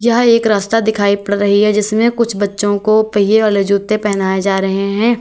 यह एक रास्ता दिखाई पड़ रही है जिसमें कुछ बच्चों को पहिए वाले जूते पहनाए जा रहे हैं।